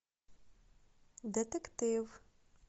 детектив